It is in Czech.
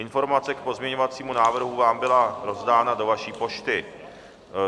Informace k pozměňovacímu návrhu vám byla rozdána do vaší pošty.